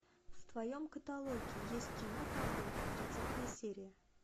в твоем каталоге есть кино табу тридцатая серия